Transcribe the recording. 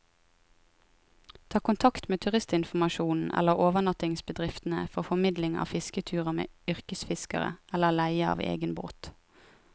Ta kontakt med turistinformasjonen eller overnattingsbedriftene for formidling av fisketurer med yrkesfiskere, eller leie av egen båt.